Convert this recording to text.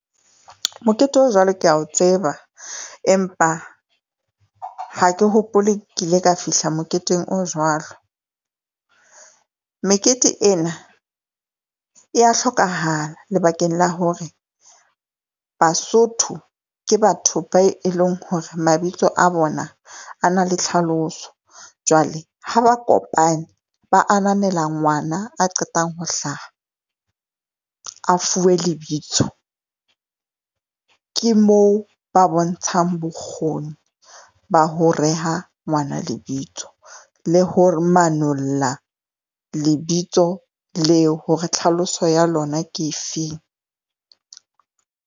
Mokete o jwalo kea o tseba, empa ha ke hopole kile ka fihla moketeng o jwalo. Mekete ena ya hlokahala lebakeng la hore Basotho ke batho ba e leng hore mabitso a bona a na le tlhaloso. Jwale ha ba kopanye, ba ananela ngwana a qetang ho hlaha, a fuwe lebitso ke moo ba bontshang bokgoni ba ho reha ngwana lebitso la hore manolla lebitso leo hore tlhaloso ya lona ke efeng.